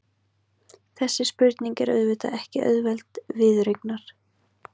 Þessi spurning er auðvitað ekki auðveld viðureignar.